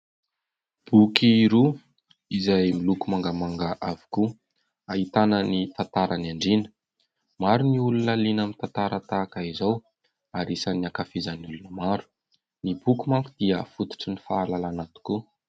Boky roa izay miloko mangamanga avokoa, ahitana ny tantaran'ny andriana. Maro ny olona liana amin'ny tantara tahaka izao ary isan'ny ankafizin'ny olona maro. Ny boky manko dia fototry ny fahalalàna tokoa.